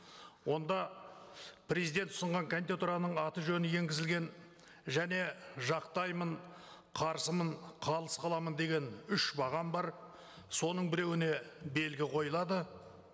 онда президент ұсынған кандидатураның аты жөні енгізілген және жақтаймын қарсымын қалыс қаламын деген үш бағам бар соның біреіуне белгі қойылады